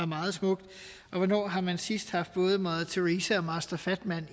meget smukt og hvornår har man sidst haft både mother teresa og master fatman